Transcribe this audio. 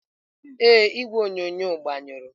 Ee, igwe onyonyo agbanyụrụ.